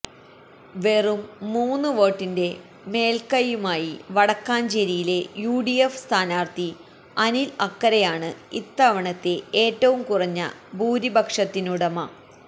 വെറും മൂന്നുവോട്ടിന്റെ മേല്കൈയുമായി വടക്കാഞ്ചേരിയിലെ യുഡിഎഫ് സ്ഥാനാര്ഥി അനില് അക്കരയാണ് ഇത്തവണത്തെ ഏറ്റവും കുറഞ്ഞ ഭൂരിപക്ഷത്തിനുടമ